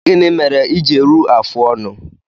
Gịnị mere i ji eru afụ ọnụ?